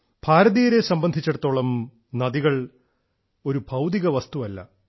ഭാരതീയരെ സംബന്ധിച്ചിടത്തോളം നദികൾ ഒരു ഭൌതിക വസ്തുവല്ല